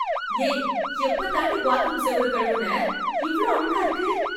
ஏய் எப்பதான்டி பாத்ரூம் செவுரு கழுவுன? இவ்ளோ அழுக்கா இருக்கு?